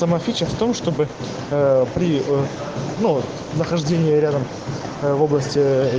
в том чтобы при нахождении рядом в области